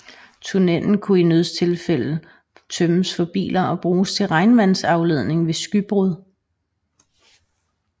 Tunnelen kunne i nødstilfælde tømmes for biler og bruges til regnvandsafledning ved skybrud